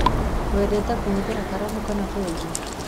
Wendete kũhũthĩra karamu kana benjũ?